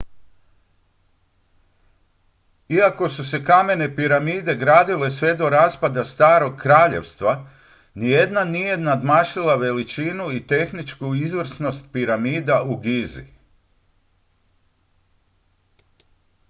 iako su se kamene piramide gradile sve do raspada starog kraljevstva nijedna nije nadmašila veličinu i tehničku izvrsnost piramida u gizi